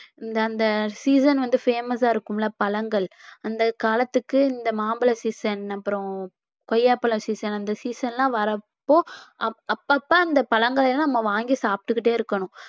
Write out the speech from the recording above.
இந்த இந்த season வந்து famous ஆ இருக்கும்ல பழங்கள் அந்தக் காலத்துக்கு இந்த மாம்பழ season அப்புறம் கொய்யாப்பழம் season அந்த season எல்லாம் வர்றப்போ அப்~ அப்பப்ப அந்த பழங்களை எல்லாம் நம்ம வாங்கி சாப்பிட்டுக்கிட்டே இருக்கணும்